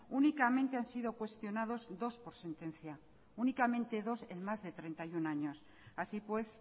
únicamente ha sido cuestionados dos por sentencia únicamente dos en más de treinta y uno años así pues